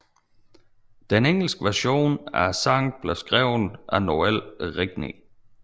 Den engelske version af sangen blev skrevet af Noël Regney